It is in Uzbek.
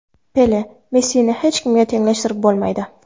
Pele: Messini hech kimga tenglashtirib bo‘lmaydi.